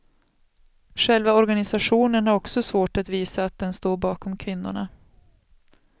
Själva organisationen har också svårt att visa att den står bakom kvinnorna.